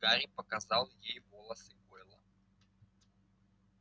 гарри показал ей волосы гойла